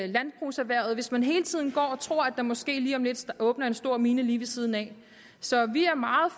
landbrugserhvervet hvis man hele tiden går og tror at der måske lige om lidt åbner en stor mine lige ved siden af så vi er meget